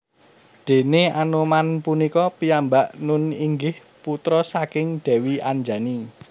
Déné Anoman punika piyambak nun inggih putra saking Dèwi Anjani